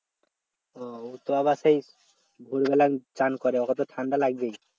ও ওতো আবার সেই ভোর বেলা চান করে ওকে তো ঠান্ডা লাগবেই